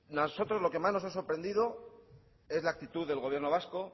nosotros lo que más nos ha sorprendido es la actitud del gobierno vasco